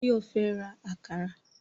Báyọ̀ fẹ́ ra àkàrà